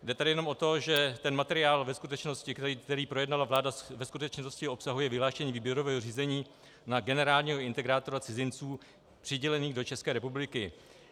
Jde tady jenom o to, že ten materiál ve skutečnosti, který projednala vláda, ve skutečnosti obsahuje vyhlášení výběrového řízení na generálního integrátora cizinců přidělených do České republiky.